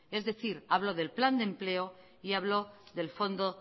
es decir hablo del plan de empleo y hablo del fondo